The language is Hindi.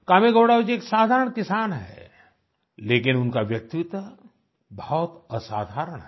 कामेगौड़ा जी एक साधारण किसान हैं लेकिन उनका व्यक्तित्व बहुत असाधारण है